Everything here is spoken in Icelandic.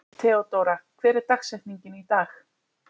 Theódóra, hver er dagsetningin í dag?